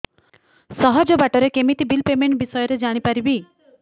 ସହଜ ବାଟ ରେ କେମିତି ବିଲ୍ ପେମେଣ୍ଟ ବିଷୟ ରେ ଜାଣି ପାରିବି